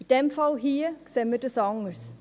In dem Fall hier sehen wir es anders.